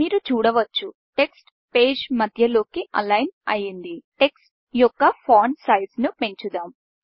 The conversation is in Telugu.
మీరు చూడవచ్చు టెక్స్ట్ పేజ్ మధ్య లోకి అలైన్ అయింది టెక్ట్స్ యొక్క ఫాంట్ సైజును పెంచుదాం